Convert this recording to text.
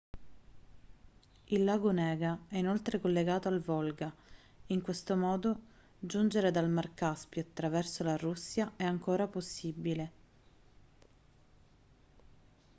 il lago onega è inoltre collegato al volga in questo modo giungere dal mar caspio attraverso la russia è ancora possibile